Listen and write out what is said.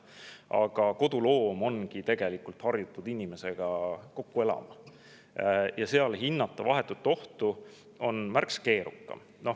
Aga koduloomad ongi tegelikult harjutatud inimestega kokku elama ja nende puhul vahetut ohtu hinnata on märksa keerukam.